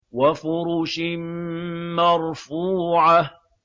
وَفُرُشٍ مَّرْفُوعَةٍ